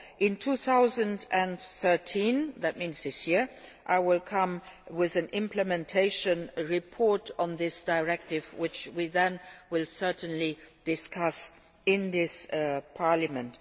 national law. In 2013 that means this year I will come up with an implementation report on this directive, which we will then certainly discuss in